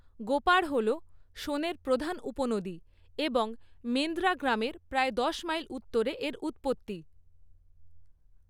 গোপাড় হল সোনের প্রধান উপনদী এবং মেন্দ্রা গ্রামের প্রায় দশ মাইল উত্তরে এর উৎপত্তি।